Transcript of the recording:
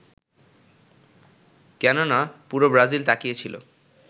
কেননা পুরো ব্রাজিল তাকিয়েছিল